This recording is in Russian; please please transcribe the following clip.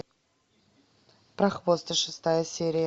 прохвосты шестая серия